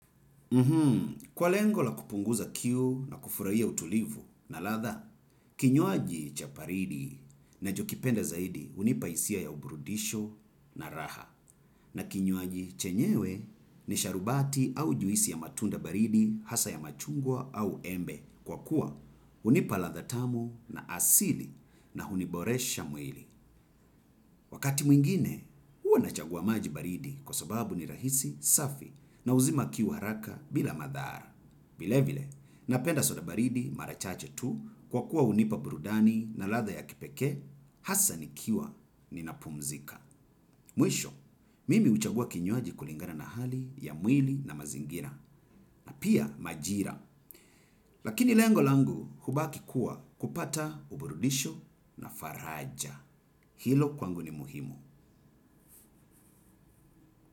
Kwa lengo la kupunguza kiu na kufurahia utulivu na ladha. Kinywaji cha baridi ninachopenda zaidi, hunipa hisia ya uburudisho na raha. Na kinywaji chenyewe ni sharubati au juisi ya matunda baridi hasa ya machungwa au embe. Kwa kuwa unipa ladha tamu na asili na huniboresha mwili. Wakati mwingine, huwa nachagua maji baridi kwa sababu ni rahisi, safi na huzima kiu haraka bila madhara. Vile vile, napenda soda baridi mara chache tu kwa kuwa hunipa burudani na ladha ya kipekee, hasa nikiwa napumzika. Mwisho, mimi uchagua kinywaji kulingana na hali ya mwili na mazingira na pia majira. Lakini lengo langu hubaki kuwa kupata uburudisho na faraja. Hilo kwangu ni muhimu.